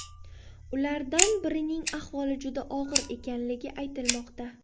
Ulardan birining ahvoli juda og‘ir ekanligi aytilmoqda.